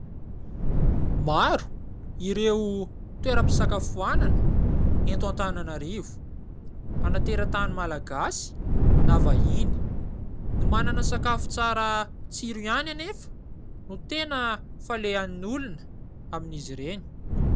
Maro ! Ireo toeram-pisakafoanana eto Antananarivo. Na tera-tany malagasy na vahiny. Ny manana sakafo tsara tsiro ihany anefa ! No tena falehan'ny olona amin'ny izy ireny.